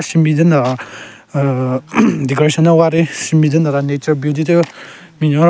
Shenbin den dara aahh decoration nden gwari Shenbin den dara nature beauty thyu pe binyon ro --